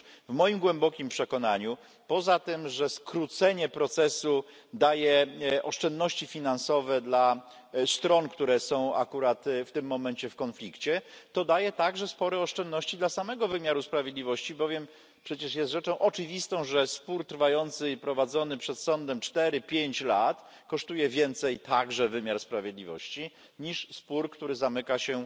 Otóż w moim głębokim przekonaniu poza tym, że skrócenie procesu daje oszczędności finansowe dla stron, które są akurat w tym momencie w konflikcie, to daje także spore oszczędności dla samego wymiaru sprawiedliwości, bowiem przecież jest rzeczą oczywistą, że spór trwający, prowadzony przed sądem cztery pięć lat kosztuje więcej także wymiar sprawiedliwości niż spór, który zamyka się